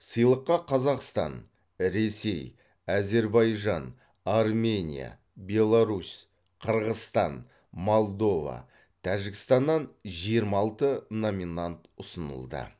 сыйлыққа қазақстан ресей әзербайжан армения беларусь қырғызстан молдова тәжікстаннан жиырма алты номинант ұсынылды